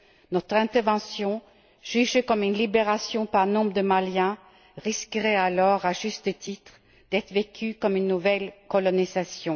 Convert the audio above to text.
Notre intervention, jugée comme une libération par nombre de Maliens, risquerait alors, à juste titre, d'être vécue comme une nouvelle colonisation.